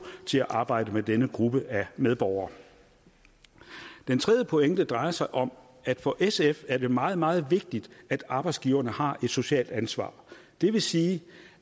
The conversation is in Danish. til at arbejde med denne gruppe af medborgere den tredje pointe drejer sig om at det for sf er meget meget vigtigt at arbejdsgiverne har et socialt ansvar det vil sige